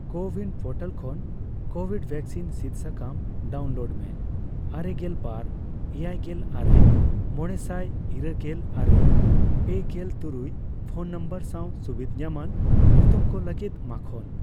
CoWIN portal ᱠᱷᱚᱱ covid vaccine ᱥᱤᱫ ᱥᱟᱠᱟᱢ ᱰᱟᱣᱩᱱᱞᱳᱰ ᱢᱮ ᱟᱨᱮᱜᱮᱞ ᱵᱟᱨ ,ᱮᱭᱟᱭᱜᱮᱞ ᱟᱨᱮ ,ᱢᱚᱲᱮᱥᱟᱭ ,ᱤᱨᱟ, ᱞᱜᱮᱞ ᱟᱨᱮ ,ᱯᱮᱜᱮᱞᱛᱩᱨᱩᱭ ᱯᱷᱚᱱ ᱱᱚᱢᱵᱚᱨ ᱥᱟᱣ ᱥᱩᱵᱤᱫᱷ ᱧᱟᱢᱟᱱ ᱧᱩᱛᱩᱢ ᱠᱚ ᱞᱟᱹᱜᱤᱫ ᱢᱟᱠᱷᱳᱱ ᱾